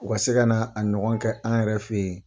U ka se ka na a ɲɔgɔn kɛ an yɛrɛ fɛ yen